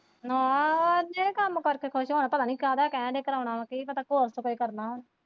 ਨਾਂਹ ਇੰਨੇ ਨੀ ਕੰਮ ਕਰਕੇ ਖੁਸ਼ ਹੋਣਾ ਪਤਾ ਨੀ ਕਾਦਾ ਕਹਿਣ ਦੇ ਕਰਾਣਾ ਕੀ ਪਤਾ ਘੋਰ ਖਪਾਈ ਕਰਨਾ ਹੁਣ।